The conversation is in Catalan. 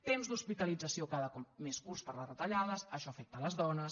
temps d’hospitalització cada cop més curts per les retallades això afecta les dones